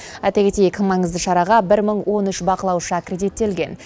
айта кетейік маңызды шараға бір мың он үш байқаушы аккредиттелген